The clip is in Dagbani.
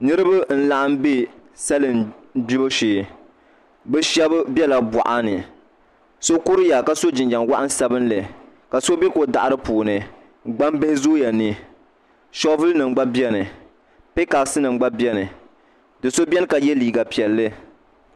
Niraba n laɣam bɛ salin gbibu shee bi shab biɛla boɣa ni so kuriya ka so jinjɛm waɣan sabinli ka so bɛ ko daɣari puuni gbambihi zooya ni soobuli nim gba biɛni pingaas nim gba biɛni do so biɛni ka yɛ liiga piɛlli